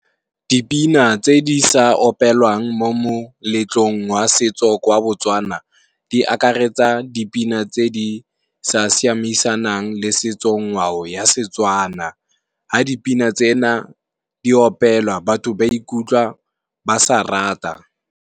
Dipina tse di sa opelwang mo moletlong wa setso kwa Botswana, di akaretsa dipina tse di sa siamisanang le setso-ngwao ya Setswana. Ha dipina tsena di opelwa, batho ba ikutlwa ba sa rata.